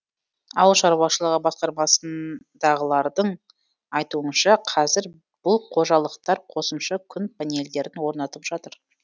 ауыл шаруашылығы басқармасындағылардың айтуынша қазір бұл қожалықтар қосымша күн панельдерін орнатып жатыр